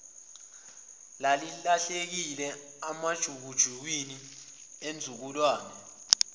elahlekile emajukujukwini enzululwane